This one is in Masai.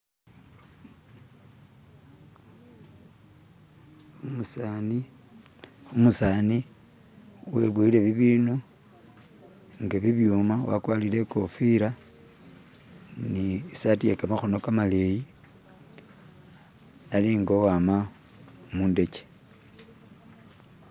umusani weboyele bibinu nga bibyuma wakwalile ikofila nisati yekamahono kamaleyi ali nga uwama mundekye